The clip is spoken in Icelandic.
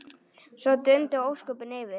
Svo dundu ósköpin yfir.